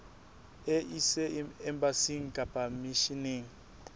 e ise embasing kapa misheneng